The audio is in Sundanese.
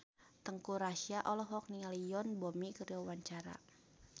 Teuku Rassya olohok ningali Yoon Bomi keur diwawancara